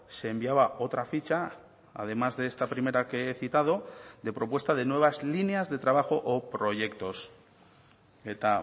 se enviaba otra ficha además de esta primera que he citado de propuesta de nuevas líneas de trabajo o proyectos eta